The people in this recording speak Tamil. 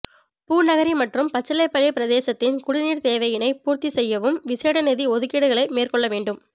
பூநகரி மற்றும் பச்சிலைப்பள்ளி பிரதேசத்தின் குடிநீர் தேவையினை பூர்த்திசெய்யவும் விசேட நிதி ஒதுக்கீடுகளை மேற்கொள்ள வேண்டும்